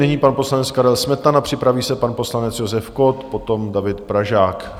Nyní pan poslanec Karel Smetana, připraví se pan poslanec Josef Kott, potom David Pražák.